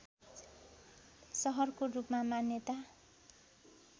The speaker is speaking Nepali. सहरको रूपमा मान्यता